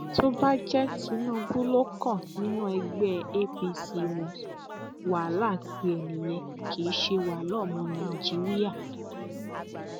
tó bá jẹ tinubu ló kàn nínú ẹgbẹ apc wọn wàhálà tiẹ nìyẹn kì í ṣe wàhálà ọmọ nàìjíríà